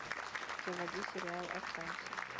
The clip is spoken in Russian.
заводи сериал останься